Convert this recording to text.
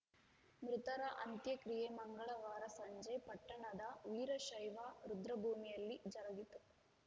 ಮೃತರ ಅಂತ್ಯ ಕ್ರಿಯೆ ಮಂಗಳವಾರ ಸಂಜೆ ಪಟ್ಟಣದ ವೀರಶೈವ ರುದ್ರಭೂಮಿಯಲ್ಲಿ ಜರುಗಿತು